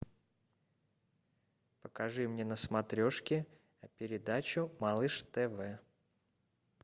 покажи мне на смотрешке передачу малыш тв